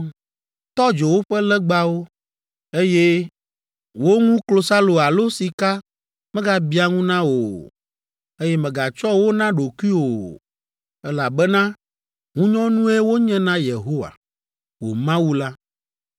Tɔ dzo woƒe legbawo, eye wo ŋu klosalo alo sika megabiã ŋu na wò o, eye mègatsɔ wo na ɖokuiwò o, elabena ŋunyɔnue wonye na Yehowa, wò Mawu la.